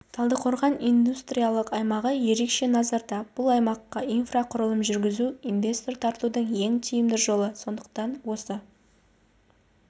талдықорған индустриялық аймағы ерекше назарда бұл аймаққа инфрақұрылым жүргізу инвестор тартудың ең тиімді жолы сондықтан осы